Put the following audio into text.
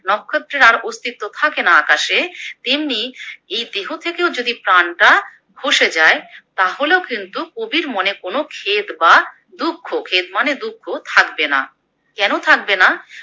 নক্ষত্রের আর অস্তিত্ব থাকেনা আকাশে তেমনি এই দেহ থেকেও যদি প্রাণটা খসে যায় তাহলেও কিন্তু কবির মনে কোনো খেদ বা দুঃখ, খেদ মানে দুঃখ থাকবেনা, কোনো থাকবেনা?